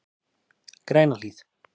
Grænahlíð